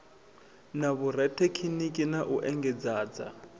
na vhorathekhiniki na u engedzadza